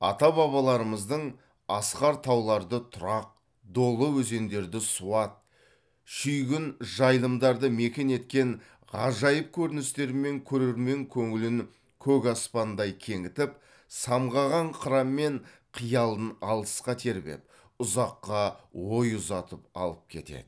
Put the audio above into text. ата бабаларымыздың асқар тауларды тұрақ долы өзендерді суат шүйгін жайылымдарды мекен еткен ғажайып көріністерімен көрермен көңілін көк аспандай кеңітіп самғаған қыранмен қиялын алысқа тербеп ұзаққа ой ұзатып алып кетеді